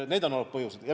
Need on olnud põhjused.